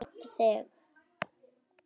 Hann var þannig.